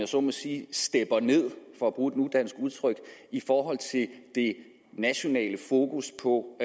sådan set stepper ned for at bruge et nudansk udtryk i forhold til det det nationale fokus på